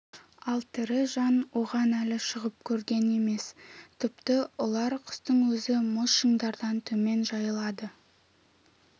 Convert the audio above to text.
ал тірі жан оған әлі шығып көрген емес тіпті ұлар құстың өзі мұз шыңдардан төмен жайылады